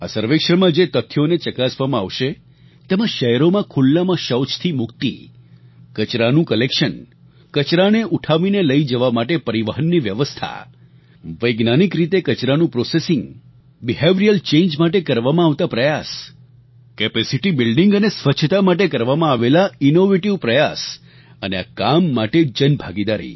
આ સર્વેક્ષણમાં જે તથ્યોને ચકાસવામાં આવશે તેમા શહેરોમાં ખુલ્લામાં શૌચથી મુક્તિ કચરાનું કલેક્શન કચરાને ઉઠાવીને લઈ જવા માટે પરિવહનની વ્યવસ્થા વૈજ્ઞાનિક રીતે કચરાનું પ્રોસેસિંગ બિહેવિયરલ ચાંગે માટે કરવામાં આવતા પ્રયાસ કેપેસિટી બિલ્ડિંગ અને સ્વચ્છતા માટે કરવામાં આવેલા ઇનોવેટિવ પ્રયાસ અને આ કામ માટે જનભાગીદારી